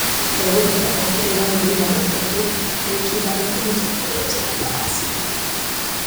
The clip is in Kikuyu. ndagũthaitha ongerera mweri wa gatatũ tarĩki ithano ta mũthenya ũrĩa njaramba aciarirwo